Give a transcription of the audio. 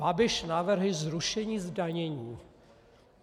Babiš navrhl zrušení zdanění.